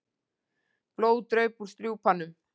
Blóð draup úr strjúpanum.